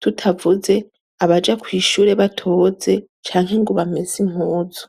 Tutavuze ,abaja kwishure batoze canke ngo bamese impuzu.